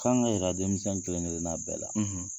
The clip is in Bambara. K'an ka yira denmisɛn kelen kelenna bɛɛ la.